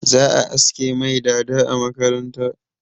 Za a aske mai dada a makaranta.